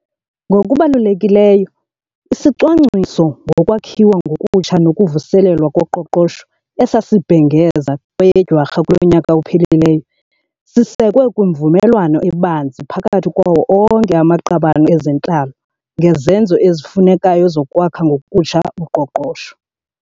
Ngokubalulekileyo, isiCwangciso soKwakhiwa ngokutsha nokuVuselelwa koQoqosho esasibhengeza kweyeDwarha kulo nyaka uphelileyo sisekwe kwimvumelwano ebanzi phakathi kwawo onke amaqabane ezentlalo ngezenzo ezifunekayo zokwakha ngokutsha uqoqosho.